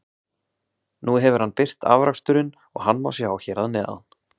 Nú hefur hann birt afraksturinn og hann má sjá hér að neðan.